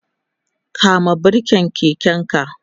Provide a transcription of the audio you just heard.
kama birken keken ka!